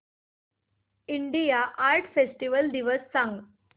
India art festival दिवस सांग